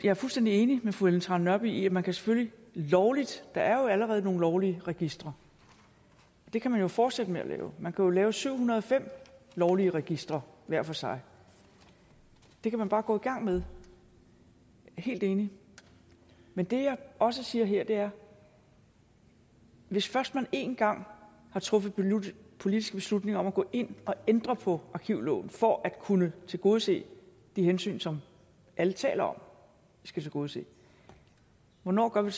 er fuldstændig enig med fru ellen trane nørby i at man selvfølgelig lovligt der er jo allerede nogle lovlige registre og det kan man fortsætte med at lave man jo lave syv hundrede og fem lovlige registre hver for sig det kan man bare gå i gang med helt enig men det jeg også siger her er hvis først man én gang har truffet politiske beslutninger om at gå ind og ændre på arkivloven for at kunne tilgodese de hensyn som alle taler om vi skal tilgodese hvornår gør vi